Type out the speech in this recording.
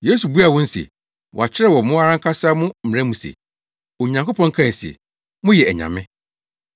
Yesu buaa wɔn se, “Wɔakyerɛw wɔ mo ara ankasa mo mmara mu se, Onyankopɔn kae se, ‘Moyɛ anyame.’